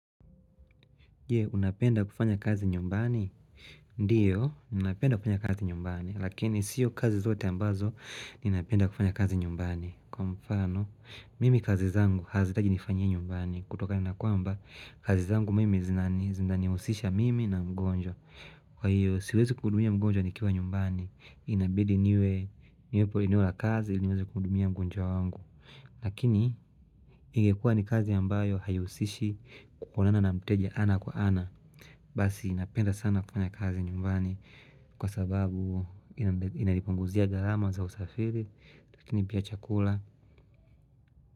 Je, unapenda kufanya kazi nyumbani? Ndiyo, ninanapenda kufanya kazi nyumbani, lakini siyo kazi zote ambazo ninapenda kufanya kazi nyumbani. Kwa mfano, mimi kazi zangu hazihitaji nifanyiye nyumbani kutokana kwamba kazi zangu mimi zinanihusisha mimi na mgonjwa. Kwa hiyo, siwezi kukbudumia mgonjwa nikiwa nyumbani. Inabidi niwe, niwepo eneo ya kazi, iliniwezi kuhudumia mgonjwa wangu. Lakini ingekua ni kazi ambayo haihusishi kuonana na mteja ana kwa ana. Basi ninapenda sana kufanya kazi nyumbani kwa sababu inanipunguzia gharama za usafiri lakini pia chakula.